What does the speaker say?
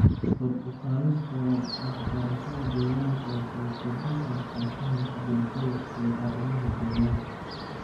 Kor u qaadista waxbarashada deegaanka waxay kordhin kartaa fahamka bulshada ee arrimaha deegaanka.